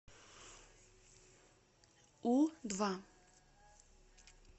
у два